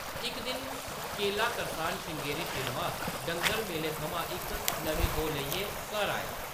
इक दिन, केला करसान श्रृंगेरी श्रीनिवास डंगर मेले थमां इक नमीं गौ लेइयै घर आया ।